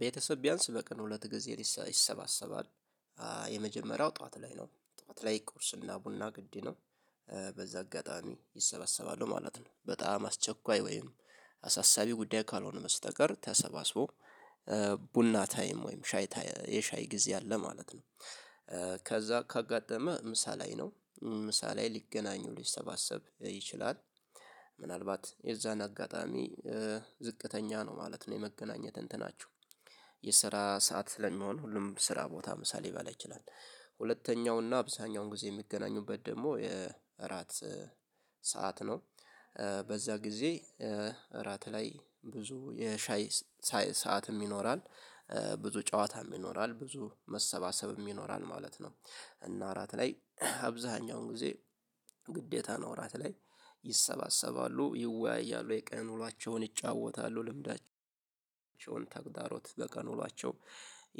ቤተሰብ ቢያንስ በቀን ሁለት ጊዜ ይሰባሰባል። የመጀመሪያው ጠዋት ላይ ነው ጠዋት ላይ ቁርስና ቡና ግድይ ነው። በዛ አጋጣሚ ይሰበሰባሉ ማለት ነው በጣም አስቸኳይ ወይም አሳሳቢ ጉዳይ ካልሆነ በስተቀር ተሰባስቦ ቡና ታይም ወይም ሻይ የሻይ ጊዜ አለ ማለት ነው። ከዛ ካጋጠመ ምሳ ላይ ነው ምሳ ላይ ሊገናኙ ሊሰባሰብ ይችላል። ምናልባት የዛን አጋጣሚ ዝቅተኛ ነው ማለት ነው የመገናኘት እንትናችሁ የስራ ሰዓት ስለሚሆን ሁሉም ስራ ቦታ ምሳ ሊበላ ይችላል። ሁለተኛውና አብዛኛውን ጊዜ የሚገናኙበት ደግሞ የእራት ሰዓት ነው። በዛ ጊዜ እራት ላይ ብዙ የሻይ ሰዓትም ይኖራል ብዙ ጨዋታም ይኖራል ብዙ መሰባሰብም ይኖራል ማለት ነው። እና እራት ላይ አብዛሀኛው ጊዜ ግዴታ ራት ላይ ይሰባሰባሉ ይወያያሉ የቀን ውሏቸውን ይጫወታሉ ልምዳቸውን ተግዳሮት በቀን ውሏቸው